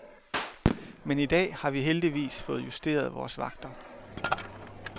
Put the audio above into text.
Men i dag har vi heldigvis fået justeret vores vagter.